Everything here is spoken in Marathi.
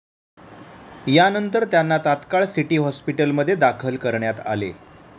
यानंतर त्यांना तात्काळ सिटी हॉस्पीटलमध्ये दाखल करण्यात आले.